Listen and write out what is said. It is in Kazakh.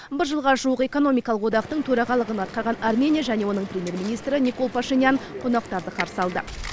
бір жылға жуық экономикалық одақтың төрағалығын атқарған армения және оның премьер министрі никол пашинян қонақтарды қарсы алды